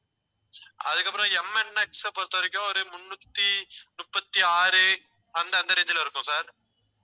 அதுக்கப்புறம் எம்என்எக்ஸ பொறுத்தவரைக்கும் ஒரு முன்னூத்தி முப்பத்தி ஆறு அந்த அந்த range ல இருக்கும் sir